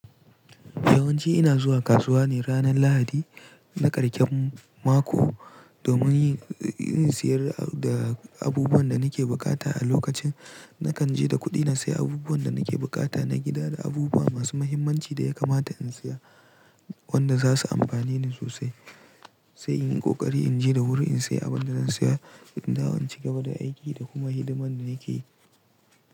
Yawanci ina zuwa kasuwa ne ranar Lahadi na karshen mako domin yin siyayya da abubuwan da nake buƙata. A lokacin, nakan je da kuɗi sayi abubuwan da nake bukata na gida da abubuwa masu muhimmanci da ya kamata in saya wanda za su amfane ni sosai. Sai in yi ƙoƙari in je da wuri in sayi abin da zan saya. Indawo inci gaba da aiki da kuma hidimar da nake yi.